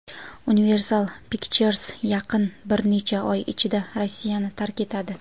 Universal Pictures yaqin bir necha oy ichida Rossiyani tark etadi.